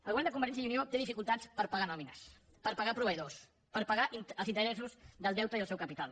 el govern de convergència i unió té dificultats per pagar nòmines per pagar proveïdors per pagar els interessos del deute i el seu capital